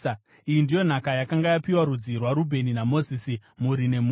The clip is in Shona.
Iyi ndiyo nhaka yakanga yapiwa rudzi rwaRubheni naMozisi, mhuri nemhuri: